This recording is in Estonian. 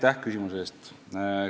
Aitäh küsimuse eest!